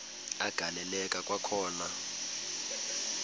agaleleka kwakhona kwaliwa